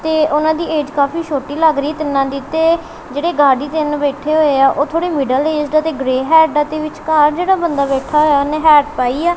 ਤੇ ਉਹਨਾਂ ਦੀ ਏਜ ਕਾਫੀ ਛੋਟੀ ਲੱਗ ਰਹੀ ਐ ਤਿੰਨਾਂ ਦੀ ਤੇ ਜਿਹੜੇ ਗਾਡੀ ਤਿੰਨ ਬੈਠੇ ਹੋਏ ਆ ਉਹ ਥੋੜੇ ਮਿਡਲ ਏਜਡ ਆ ਤੇ ਗ੍ਰੈ ਹੈਟਾਂ ਦੇ ਵਿੱਚਕਾਰ ਜਿਹੜਾ ਬੰਦਾ ਬੈਠਾ ਹੋਇਆ ਉਹਨੇ ਹੈਟ ਪਾਈ ਆ।